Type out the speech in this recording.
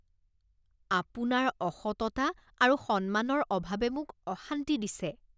আপোনাৰ অসততা আৰু সন্মানৰ অভাৱে মোক অশান্তি দিছে।